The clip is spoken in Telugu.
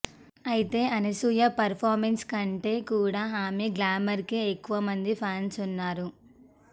అయితే అనసూయ పర్ఫార్మెన్స్ కంటే కూడా ఆమె గ్లామర్కే ఎక్కువ మంది ఫ్యాన్స్ ఉన్నారు